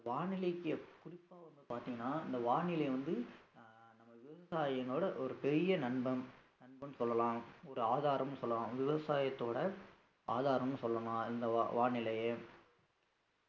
வானிலைக்கு குறிப்பா வந்து பாத்தீங்கன்னா இந்த வானிலை வந்து விவசாயினோட ஒரு பெரிய நண்பன் நண்பன் சொல்லலாம் ஒரு ஆதாரம்னு சொல்லலாம் விவசாயத்தோட ஆதாரம்னு சொல்லலாம் இந்த வா~ வானிலையை